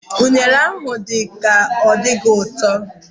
Unere a dị ka ọ gaghị adị ụtọ